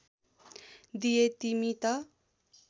दिए तिमी त